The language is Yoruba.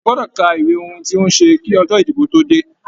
A gbọdọ ká ìwé ohùn tí n o ṣe kí ọjọ ìdìbò tó dé.